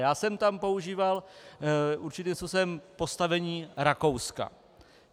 Já jsem tam používal určitým způsobem postavení Rakouska.